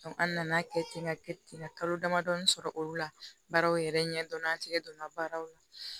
an nana kɛ ten ka kɛ ten ka kalo damadɔ sɔrɔ olu la baaraw yɛrɛ ɲɛdɔn an tɛgɛ donna baaraw la